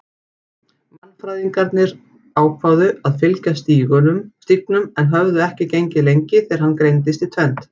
Mannfræðingarnir ákváðu að fylgja stígnum en höfðu ekki gengið lengi þegar hann greindist í tvennt.